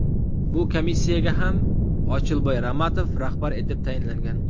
Bu komissiyaga ham Ochilboy Ramatov rahbar etib tayinlangan .